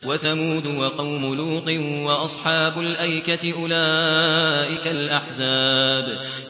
وَثَمُودُ وَقَوْمُ لُوطٍ وَأَصْحَابُ الْأَيْكَةِ ۚ أُولَٰئِكَ الْأَحْزَابُ